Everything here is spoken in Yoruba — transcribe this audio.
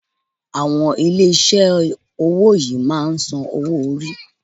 Àwọn ilé iṣé owó yìí máà ń sàn owo orí.